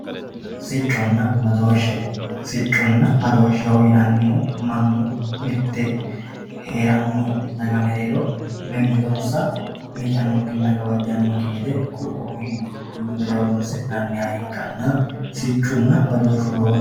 sicconna badooshshe sicconna badooshshe yinannihu mannu heeranno daga mereero mimmitonsa miicannokkinna gawajjannokki gede qunqumme horonsi'nanniha ikkanna siccunna badooshshu lowo geeshsha...